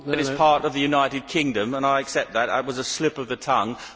It is part of the United Kingdom, and I accept that that was a slip of the tongue.